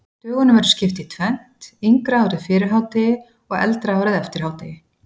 Dögunum verður skipt í tvennt, yngra árið fyrir hádegi og eldra árið eftir hádegi.